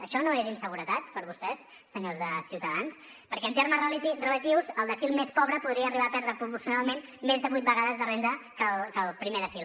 això no és inseguretat per a vostès senyors de ciutadans perquè en termes relatius el decil més pobre podria arribar a perdre proporcionalment més de vuit vegades de renda que el primer decil